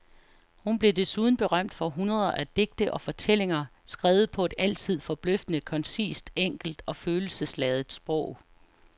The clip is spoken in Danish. Hun blev desuden berømt for hundreder af digte og fortællinger skrevet på et altid forbløffende koncist, enkelt og følelsesladet sprog.